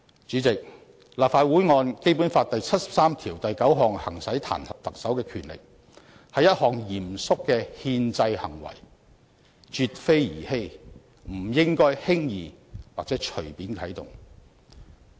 主席，立法會按《基本法》第七十三條第九項行使彈劾特首的權力，是一項嚴肅的憲制行為，絕非兒戲，不應輕易或隨便啟動。